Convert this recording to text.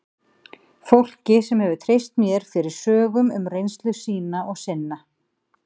Fólki sem hefur treyst mér fyrir sögum um reynslu sína og sinna.